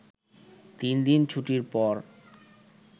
তিন দিন ছুটির পর